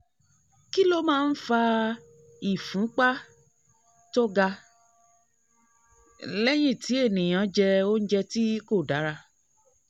kí ló máa ń fa ìfúnpá ń fa ìfúnpá tó ga lẹ́yìn tí ènìyàn jẹ oúnjẹ tí kò dára?